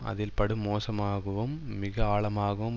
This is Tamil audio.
அதில் படுமோசமாகவும் மிக ஆழமாகவும்